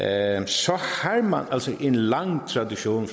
altså en lang tradition